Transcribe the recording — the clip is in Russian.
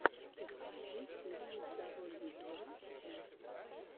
подключи фильмы дабл ю два эс